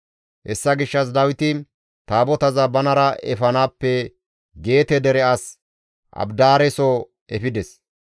Hessa gishshas Dawiti Taabotaza banara efanaappe Geete dere as Abidaareso efides.